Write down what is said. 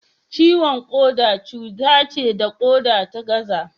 Ciwon koda cuta ce da koda ta gaza.